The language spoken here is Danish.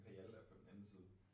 Imperial er på den anden side